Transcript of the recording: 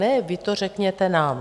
Ne, vy to řekněte nám.